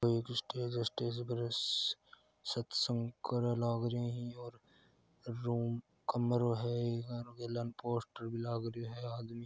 एक स्टेज है स्टेज पर सा-सत्संग करो लागरियो है और रूम कमरों है इमा गेलान पोस्टर भी लागरियो है आदमी--